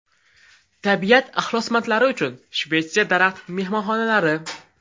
Tabiat ixlosmandlari uchun Shvetsiya daraxt-mehmonxonalari .